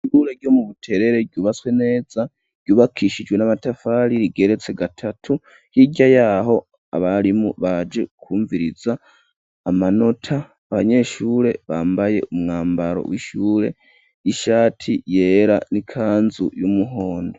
Ishure ryo mu Buterere ryubatswe neza, ryubakishijwe n'amatafari rigeretse gatatu, hirya yaho abarimu baje kumviriza amanota, abanyeshure bambaye umwambaro w'ishure ishati yera n'ikanzu y'umuhondo.